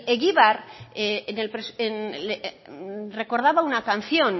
egibar recordaba en una canción